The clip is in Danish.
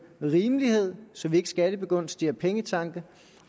rimelighed så vi ikke skattebegunstiger pengetanke